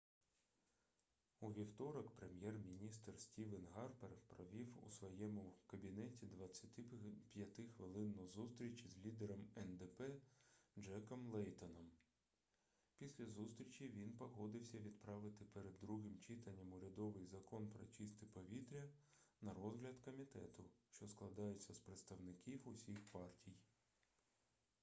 у вівторок прем'єр-міністр стівен гарпер провів у своєму кабінеті 25-хвилинну зустріч із лідером ндп джеком лейтоном після зустрічі він погодився відправити перед другим читанням урядовий закон про чисте повітря на розгляд комітету що складається з представників усіх партій